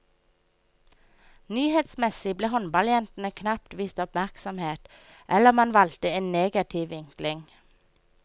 Nyhetsmessig ble håndballjentene knapt vist oppmerksomhet, eller man valgte en negativ vinkling.